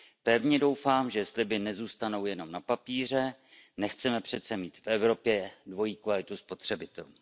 Pevně doufám, že sliby nezůstanou jenom na papíře, nechceme přece mít v Evropě dvojí kvalitu spotřebitelů.